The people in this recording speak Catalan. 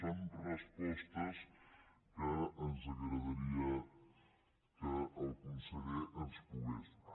són respostes que ens agradaria que el conseller ens pogués donar